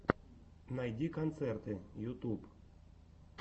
найди концерты ютуб